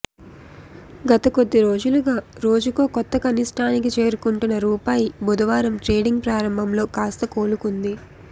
గత కొద్దిరోజులుగా రోజుకో కొత్త కనిష్టానికి చేరుకుంటున్న రూపాయి బుధవారం ట్రేడింగ్ ప్రారంభంలో కాస్త కోలుకుంది